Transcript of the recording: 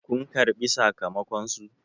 kun karbi sakamakonsu!